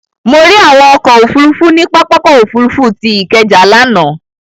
Mo rí àwọn ọkọ̀ òfurufú ní pápákọ̀ òfurufú tí Ikeja lánàá.